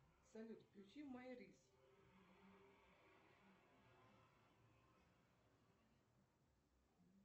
салют включи май рис